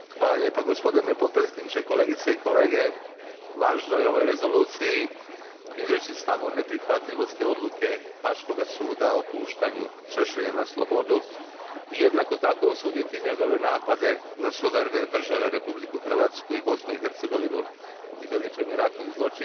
Gospodine potpredsjedniče, kolegice i kolege, važno je u ovoj Rezoluciji izreći stav o neprihvatljivosti odluke Haškoga suda o puštanju Šešelja na slobodu i jednako tako osuditi njegove napade na suverene države Republiku Hrvatsku i Bosnu i Hercegovinu i veličanje ratnih zločina.